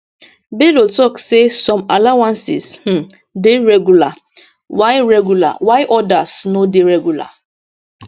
bello tok say some allowances um dey regular while regular while odas no dey regular